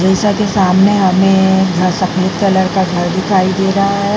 के सामने हमें सफेद कलर का घर दिखाई दे रहा है ।